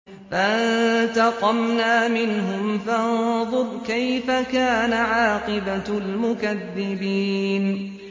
فَانتَقَمْنَا مِنْهُمْ ۖ فَانظُرْ كَيْفَ كَانَ عَاقِبَةُ الْمُكَذِّبِينَ